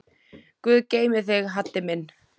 Guð geymi þig, Haddi minn.